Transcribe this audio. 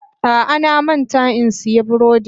A'a, na manta in siyan burodin.